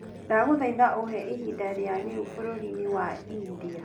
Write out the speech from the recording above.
ndakũhoya uheĩhĩnda rĩa riu bururi ni wa india